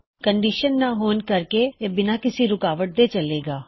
ਕੋਈ ਕੰਨਡਿਸ਼ਨ ਨਾਂ ਹੋਣ ਕਰਕੇ ਇਹ ਬਿਨਾਂ ਕਿਸੀ ਰੁਕਾਵਟ ਦੇ ਚਲੇਗਾ